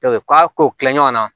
k'a kow kila ɲɔgɔn na